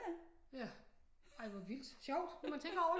Ja ej hvor vildt sjovt når man tænker over det